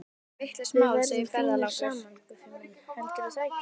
Við verðum fínir saman, Guffi minn, heldurðu það ekki?